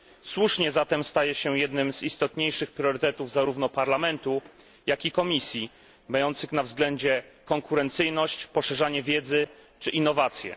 Słusznie zatem staje się jednym z istotniejszych priorytetów zarówno Parlamentu, jak i Komisji, mających na względzie konkurencyjność, poszerzanie wiedzy czy innowacje.